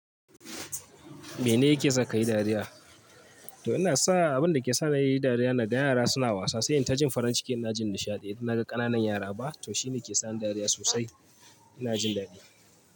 Mene yake saka ka yi dariya? To ina sa abin da ke sa ni nayi dariya na ga yara suna wasa, sai in ta jin farin cikin ina jin nishaɗi. Idan naga ƙananan yara ba to shine ke sa ni dariya sosai. Ina jin daɗi.